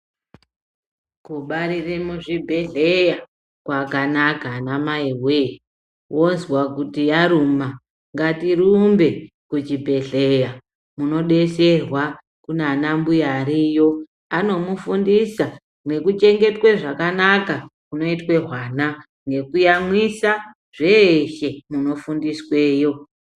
Kubarire muzvibhehleya kwakanaka anamai woye wazwa kuti yaruma ngatirumbe kuchiibhehleya munodetserwa kunanambuya ariyo anomufundisa nekuchengetwe zvakanaka kunoitwe hwana nekuyamwisa zveshe munofundisweyo.